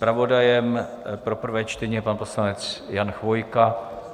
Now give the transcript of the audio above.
Zpravodajem pro prvé čtení je pan poslanec Jan Chvojka.